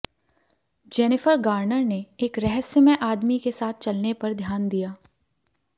Jennifer Garner ने एक रहस्यमय आदमी के साथ चलने पर ध्यान दिया